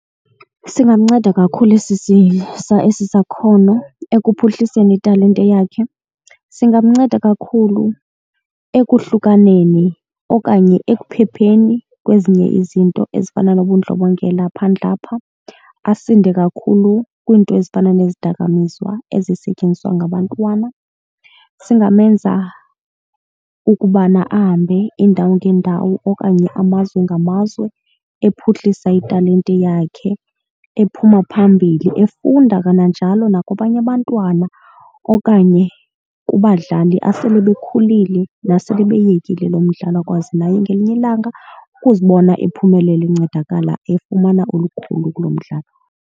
Singamnceda kakhulu esi esi sakhono ekuphuhliseni italente yakhe. Singanceda kakhulu ekuhlukaneni okanye ekuphepheni kwezinye izinto ezifana nobundlobongela phandle apha. Asinde kakhulu kwiinto ezifana nezidakamizwa ezisetyenziswa ngabantwana. Singamenza ukubana ahambe iindawo ngeendawo okanye amazwe ngamazwe ephuhlisa italente yakhe ephuma phambili. Efunda kananjalo nakwabanye abantwana okanye kubadlali asele bekhulile nasele beyekile lo mdlalo akwazi naye ngelinye ilanga ukuzibona ephumelele encedakala, efumana olukhulu kulo mdlalo.